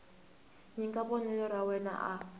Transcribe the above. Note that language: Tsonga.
nyika vonelo ra yena a